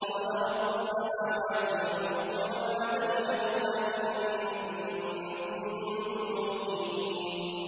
قَالَ رَبُّ السَّمَاوَاتِ وَالْأَرْضِ وَمَا بَيْنَهُمَا ۖ إِن كُنتُم مُّوقِنِينَ